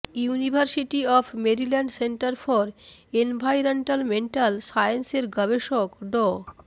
university of Maryland center for environmental science এর গবেষক ড